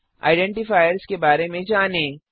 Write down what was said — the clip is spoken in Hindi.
आइडेंटीफायर्स के बारे में जानें